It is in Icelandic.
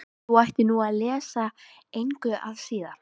Þú ættir nú að lesa það engu að síður.